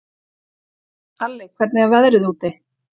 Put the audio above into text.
Alli, hvernig er veðrið úti?